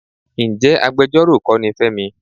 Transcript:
Ǹjẹ́ agbejọ́rò kọ́ ni Fẹ́mi?